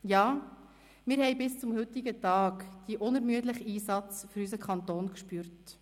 Ja, wir haben bis zum heutigen Tag den unermüdlichen Einsatz für unseren Kanton gespürt.